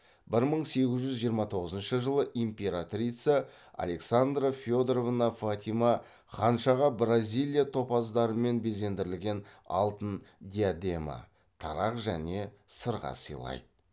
бір мың сегіз жүз жиырма тоғызыншы жылы императрица александра федоровна фатима ханшаға бразилия топаздарымен безендірілген алтын диадема тарақ және сырға сыйлайды